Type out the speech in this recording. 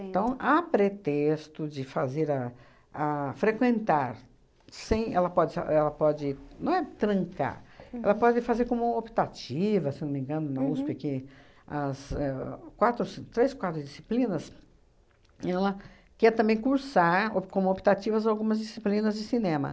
Então, há pretexto de fazer a a frequentar, sem... ela pode só, ela pode... não é trancar, ela pode fazer como optativa, se não me engano, na USP, que as éh quatro ou ci, três, quatro disciplinas, e ela quer também cursar op como optativa algumas disciplinas de cinema.